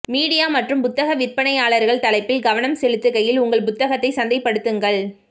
media மற்றும் புத்தக விற்பனையாளர்கள் தலைப்பில் கவனம் செலுத்துகையில் உங்கள் புத்தகத்தை சந்தைப்படுத்துங்கள்